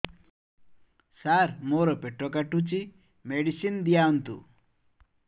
ସାର ମୋର ପେଟ କାଟୁଚି ମେଡିସିନ ଦିଆଉନ୍ତୁ